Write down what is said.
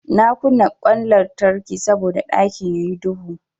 Na kunna ƙwan lantarki saboda ɗakin yayi duhu.